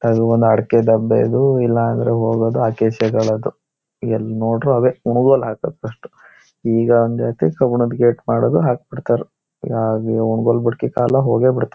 ಅದು ಒಂದು ಅಡಿಕೆ ದಬ್ಬೆ ಇದ್ವು ಇಲ್ಲ ಆದ್ರೆ ಹೋಗೋದು ಅಕೇಶಗಳದ್ದು ಎಲ್ ನೋಡಿದ್ರು ಅವೇ ಕುಣಿಗೋಲ್ ಹಾಕೋದ್ ಕಷ್ಟ ಈಗ ಬಂದ್ಐತ್ತಿ ಕಬ್ಬಿಣದ್ ಗೇಟ್ ಮಾಡೋದು ಹಾಕ್ಬಿಡ್ತಾರು ಯಾ ಇ ಕುಣಿಗೋಲ್ ಇಡೋ ಕಾಲಗೆ ಬಿಡ್ತ್ತು .